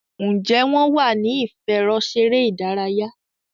Njé wón wá ní ìfẹ̀rọṣeré ìdárayá?